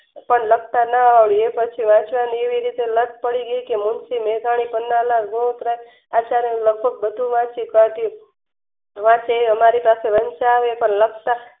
ણ લખતા ન આવડતું અને વાંચવાની એવી રીતે લાત પડી ગઈ કે આસારામ બધુજ વાંચી કાઢતી રાતે એ અમારી પાસે વંચાવે અને લખતા